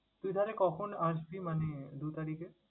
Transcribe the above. তুই তাহলে কখন আসবি মানে আহ দু তারিখে?